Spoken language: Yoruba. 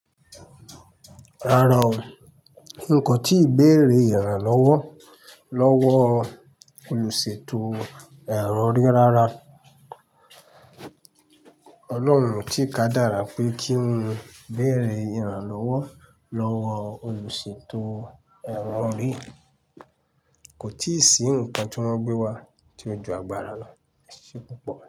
Rárá o, n kò tíì béèrè ìrànlọ́wọ́ lọ́wọ́ olùṣètò ẹ̀rọ rí rárá. Ọlọ́run e tíì kádàrá pé kí n béèrè ìrànlọ́wọ́ lọ́wọ́ olùṣètò ẹ̀rọ rí. Kò tíì sí ǹkan tó wọ́n gbé wá tí ó ju agbára lọ. Eṣé púpọ̀?